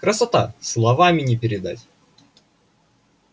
красота словами не передать